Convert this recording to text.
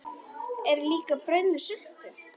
Er líka brauð með sultu?